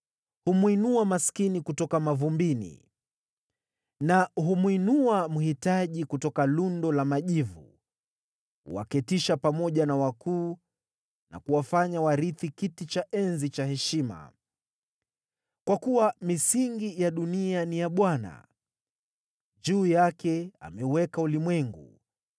Humwinua maskini kutoka mavumbini na humwinua mhitaji kutoka lundo la majivu; huwaketisha pamoja na wakuu na kuwafanya warithi kiti cha enzi cha heshima. “Kwa kuwa misingi ya dunia ni ya Bwana ; juu yake ameuweka ulimwengu.